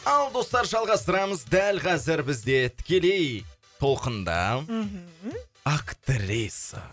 ал достар жалғастырамыз дәл қазір бізде тікелей толқында мхм актриса